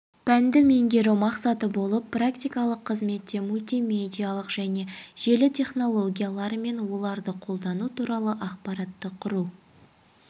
пәнді меңгеру мақсаты болып практикалық қызметте мультимедиалық және желі технологиялары мен оларды қолдану туралы ақпаратты құру